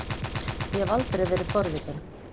Ég hef aldrei verið forvitin.